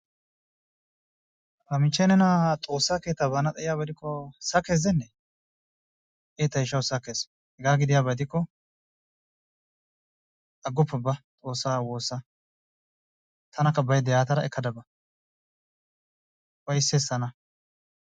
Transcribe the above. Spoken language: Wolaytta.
Ta michee nena xoosaa keettaa baana xayiyaba gidikko sakees gidenee? ee tayshawu sakkees hegaa gidiyaba gidikko agoppa ba xoosaa woossa tanakka bayda yaatada ekkada ba ufaysses tana.